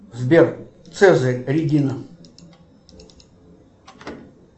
сбер цезарь регина